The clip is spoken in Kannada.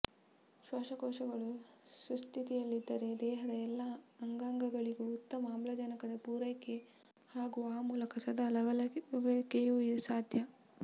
ಶ್ವಾಸಕೋಶಗಳು ಸುಸ್ಥಿತಿಯಲ್ಲಿದ್ದರೆ ದೇಹದ ಎಲ್ಲ ಅಂಗಾಂಗಗಳಿಗೂ ಉತ್ತಮ ಆಮ್ಲಜನಕದ ಪೂರೈಕೆ ಹಾಗೂ ಆ ಮೂಲಕ ಸದಾ ಲವಲವಿಕೆಯೂ ಸಾಧ್ಯ